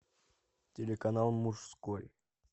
телеканал мужской